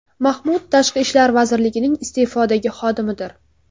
Mahmud Tashqi ishlar vazirligining iste’fodagi xodimidir.